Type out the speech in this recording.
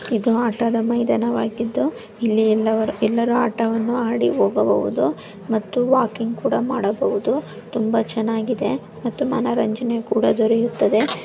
ಇದು ಆಟದ ಮೈದಾನ ವಾಗಿದ್ದು ಇಲ್ಲಿ ಎಲ್ಲವರು ಎಲ್ಲರು ಆಟವನ್ನು ಆಡಿ ಹೋಗಬೋಹುದು ಮತ್ತು ವಾಕೀಂಗ ಕೂಡಾ ಮಾಡಬೋಹದು ತುಂಬಾ ಚೆನ್ನಾಗಿದೆ ಮತ್ತು ಮನರಂಜನೆ ಕೂಡಾ ದೊರೆಯುತ್ತದೆ --